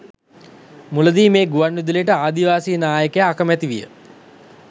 මුලදී මෙම ගුවන්විදුලියට ආදිවාසී නායකයා අකමැතිවිය.